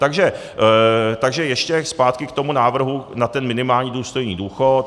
Takže ještě zpátky k tomu návrhu na ten minimální důstojný důchod.